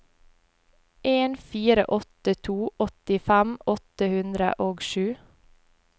en fire åtte to åttifem åtte hundre og sju